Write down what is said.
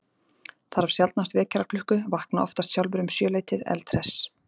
Þarf sjaldnast vekjaraklukku, vakna oftast sjálfur um sjö leytið, eldhress.